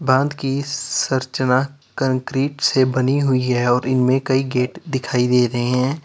बांध की संरचना कंक्रीट से बनी हुई है और इनमें कई गेट दिखाई दे रहे हैं।